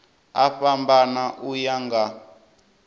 a fhambana u ya nga